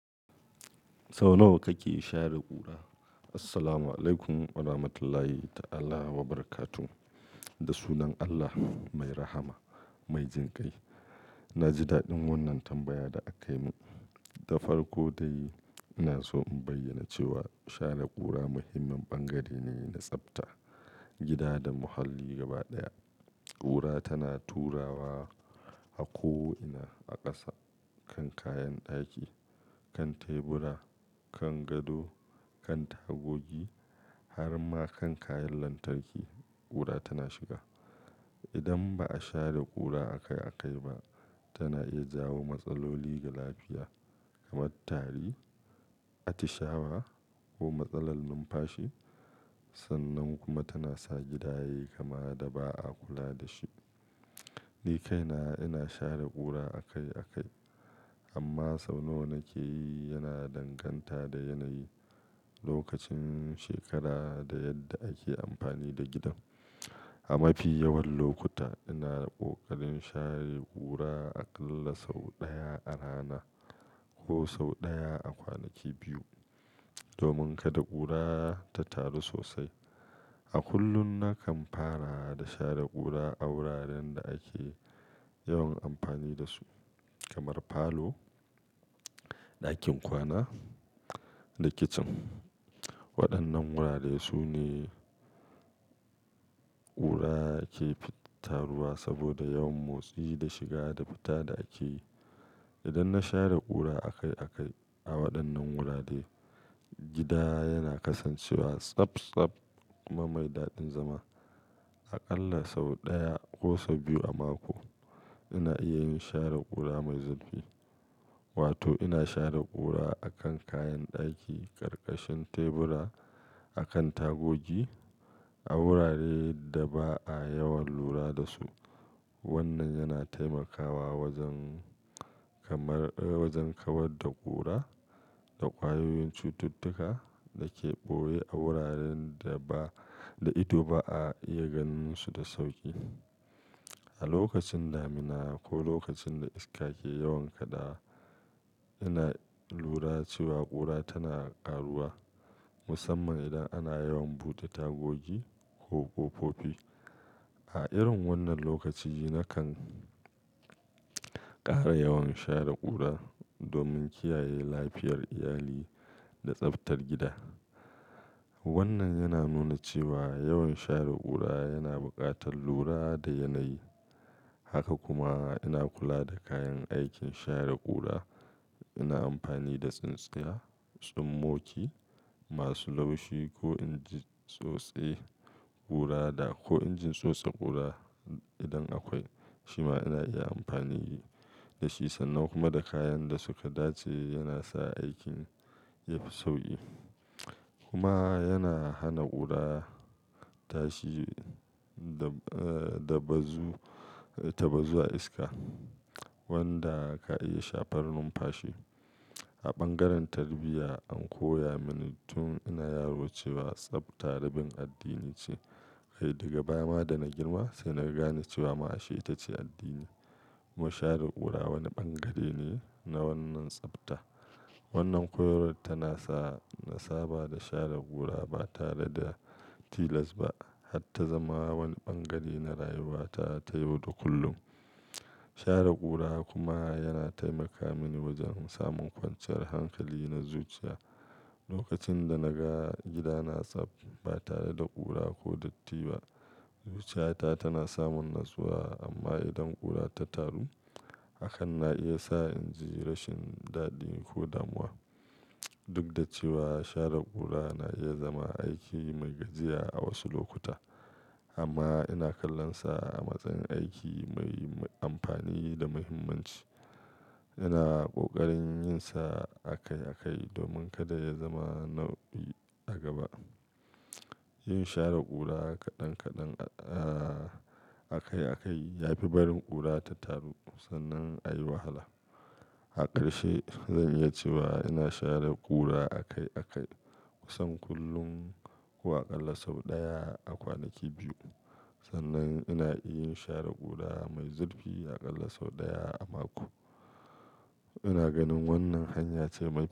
Sau nawa kake share ƙura? Assalamu alaikum warahmatullahi ta'ala wabarakatuh. Da sunan Allah mai rahama, mai jin kai. Na ji daɗin wannan tambaya da aka yi mun. Ta farko dai, ina so in bayyana cewa share ƙura muhimmin bangare ne na tsafta, gida da muhalli gaba ɗaya. Ƙura tana turawa a ko ina a ƙasa, kan kayan ɗaki, kan tebura, kan gado, kan tagogi, har ma kan kayan lantarki ƙura tana shiga. Idan ba a share ƙura akai-akai ba, tana iya jawo matsaloli ga lafiya kamar tari, atishawa ko matsalar numfashi. Sannan kuma tana sa gida yayi kama da ba a kula da shi. Ni kaina ina share ƙura akai-akai, amma sau nawa nake yi yana danganta da yanayi, lokacin shekara da yadda ake amfani da gidan. A mafi yawan lokuta ina da ƙoƙarin share ƙura aƙalla sau ɗaya a rana ko sau ɗaya a kwanaki biyu, domin kada ƙura ta taru sosai. A kullum nakan fara da share ƙura a wuraren da ake yawan amfani da su kamar falo, ɗakin kwana da kicin. Waɗannan wurare su ne ƙura ke fitarwa saboda yawan motsi da shiga da fita da ake yi. Idan na share ƙura akai-akai a waɗannan wurare, gida yana kasancewa tsaftsaf kuma mai daɗin zama. Aƙalla sau ɗaya ko sau biyu a mako ina iya yin share ƙura mai zurfi, wato ina share ƙura a kan kayan ɗaki, ƙarƙashin tebura, a kan tagogi a wuraren da ba a yawan lura da su. Wannan yana taimakawa wajen kamar, wajen kawar da ƙura da ƙwayoyin cututtuka da ke ɓoye a wuraren da ba, da ita ba a iya ganinsu da sauƙi. A lokacin damina ko lokacin da iska ke yawan kada, yana lura cewa ƙura tana ƙaruwa, musamman idan ana yawan bude tagogi ko fofofi. A irin wannan lokaci nakan ƙara yawan share ƙura domin kiyaye lafiyar iyali da tsaftar gida. Wannan yana nuna cewa yawan share ƙura yana buƙatar lura da yanayi. Haka kuma ina kula da kayan aikin share ƙura. Ina amfani da tsintsiya, tsummoki masu laushi ko injin tsotse ƙura da, ko injin tsotse ƙura idan akwai. Shi ma ina iya amfani da shi sannan kuma da kayan da suka dace yana sa aikin ya fi sauƙi. Kuma yana hana ƙura tashi da, da bazu, ta bazu a iska wanda ka iya shafar numfashi. A bangaren tarbiyya an koya mani tun ina yaro cewa tsafta rabin addini ce. Ai, daga baya ma da na girma sai na gane cewa ma'asha'i ita ce addini. Mu share ƙura wani bangare ne na wannan tsafta. Wannan koyarwa tana sa nasa ba da share ƙura ba tare da tilas ba, har ta zama wani bangare na rayuwata ta yau da kullum. Share ƙura kuma yana taimaka mini wajen samun kwanciyar hankali na zuciya. Lokacin da na ga gidana tsaft, ba tare da ƙura ko datti ba, zuciyata tana samun natsuwa. Amma idan ƙura ta taru, hakan na iya sa inji rashin daɗi ko damuwa. Duk da cewa share ƙura na iya zama aiki mai gajiya a wasu lokuta, amma ina kallon sa a matsayin aiki mai amfani da muhimmanci. Ina ƙoƙarin yin sa akai-akai domin kada ya zama nauyi a gaba. Yin share ƙura kaɗan kaɗan, a, akai-akai ya fi barin ƙura ta taru sannan a yi wahala. A ƙarshe, zan iya cewa ina share ƙura akai-akai, kusan kullum ko aƙalla sau ɗaya a kwanaki biyu. Sannan ina iya share ƙura mai zurfi aƙalla sau ɗaya a mako. Ina ganin wannan hanya ce mai.